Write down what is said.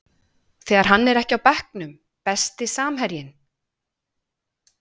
þegar hann er ekki á bekknum Besti samherjinn?